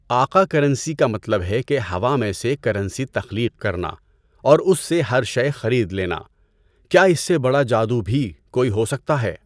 آقا کرنسی کا مطلب ہے کہ ہوا میں سے کرنسی تخلیق کرنا اور اس سے ہر شئے خرید لینا۔ کیا اس سے بڑا جادو بھی کوئی ہو سکتا ہے؟